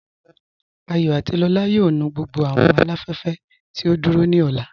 Àyọ̀ àti Lọla yóò nù gbogbo awọn aláfẹ̀fẹ̀ tí o dúró ni ọlá.